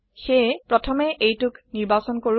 সেয়ে প্ৰথমে এইটোক নিৰ্বাচন কৰো